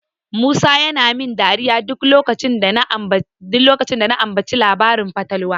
Musa yana min dariya duk lokacin da na ambaci labarin fatalwa.